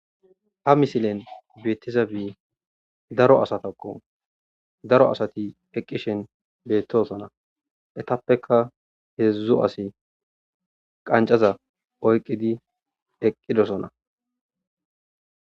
ha misilen beettiza bi daro asatakko daro asati eqqishen beettosona etappeka heedzdzo asi qancaza oyqqidi eqqidosona